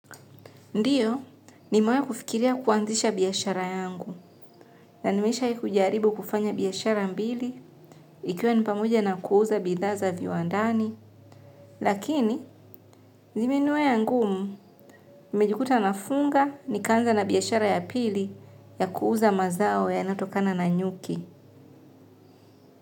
Ndiyo, nimawelahi kufikiria kuanzisha biashara yangu, na nimeshawahi kujaribu kufanya biashara mbili, ikiwa ni pamoja na kuuza bidhaa za viwandani. Lakini, zimeniwia ngumu, nimejikuta nafunga nikaanza na biashara ya pili ya kuuza mazao yanatokana na nyuki.